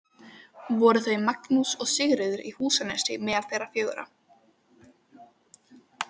Voru þau Magnús og Sigríður í Húsanesi meðal þeirra fjögurra.